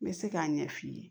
N bɛ se k'a ɲɛ f'i ye